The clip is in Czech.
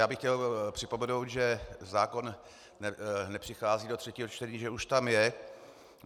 Já bych chtěl připomenout, že zákon nepřichází do třetího čtení, že už tam je.